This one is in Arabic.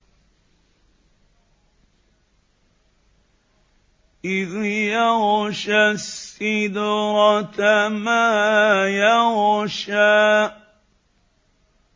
إِذْ يَغْشَى السِّدْرَةَ مَا يَغْشَىٰ